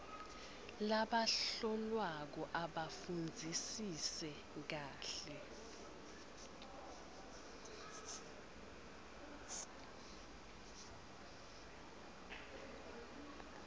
labahlolwako abafundzisise kahle